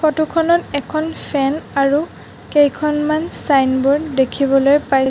photo খনত এখন fan আৰু কেইখনমান ছাইনবোৰ্ড দেখিবলৈ পাই--